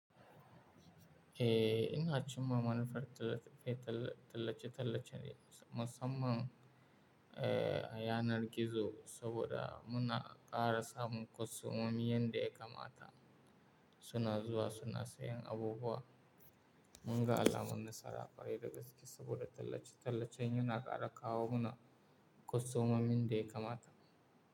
Eh, ina cimma manufar tallace-tallace ne musamman a yanar gizo saboda muna ƙara samun kwastomomin da ya kamata. Suna zuwa suna sayan abubuwa. Munga alamun nasara, kwarai da gaske saboda tallace-tallacen yana ƙara kawo mana kwastomomin da ya kamata.